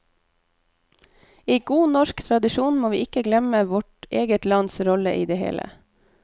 I god norsk tradisjon må vi ikke glemme vårt eget lands rolle i det hele.